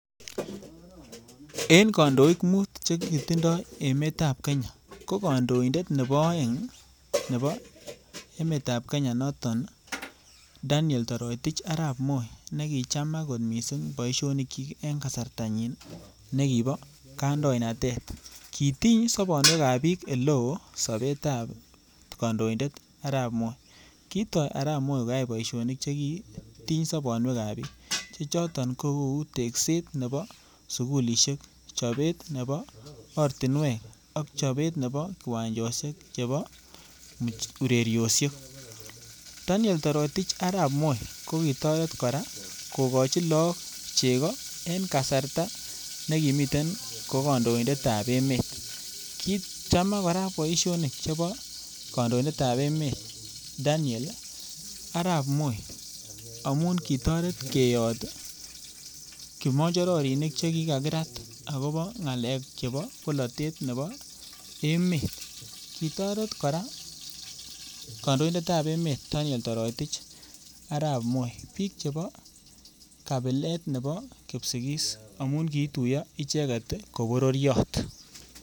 En kandoik mut chekitindoi emetab Kenya ko kandoindet nebo oeng nebo emetab Kenya noton Daniel Toroitich Arap Moi, nekichamak kot boishonikchik en kasartanyiin nekibo kandoinatet. Kitiny sobonwek ab bik oleo sobetab kandoindet arap Moi. Kitoi arap Moi koyai boishonik chekitiny sobonwekab bik chechoton kokou tesket Nebo sugulisiek, chobet nebo ortinwek ak chobet nebo kiwanjosiek chebo ureriosiek. Arap Moi kokitoret kora kokochi logbook chegoo en kasartaa nekimiten ko kandoindet at emet. Kichamak kora boishonik chebo kandoindetab emet Daniel arap Moi, amun kitoret keyoot kimonyorinik chekikakiraat akobo ng'alek chebo bolotet cheboo emet .Kitoret kora kandoindetab emet anyun Torotich arap Moi biik chebo kabilet Nebo kipsigis amun kiiituyo icheket KO bororiot.